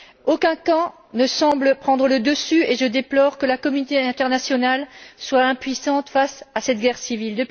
Aucun camp ne semble prendre le dessus et je déplore que la communauté internationale soit impuissante, face à cette guerre civile.